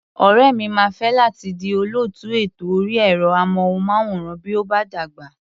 Ọ̀rẹ́ mi máa fẹ́ láti di olóòtú ètò orí ẹ̀rọ-amóhùnmáwòrán bí ó bá dàgbà.